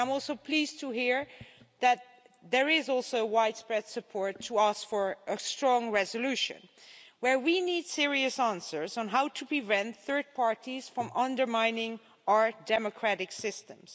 I'm also pleased to hear that there is widespread support for seeking a strong resolution we need serious answers on how to prevent third parties from undermining our democratic systems.